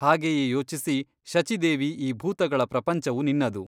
ಹಾಗೆಯೇ ಯೋಚಿಸಿ ಶಚೀದೇವಿ ಈ ಭೂತಗಳ ಪ್ರಪಂಚವು ನಿನ್ನದು.